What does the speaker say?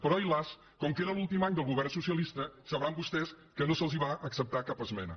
però ai las com que era l’últim any del govern socialista deuen saber vostès que no se’ls va acceptar cap esmena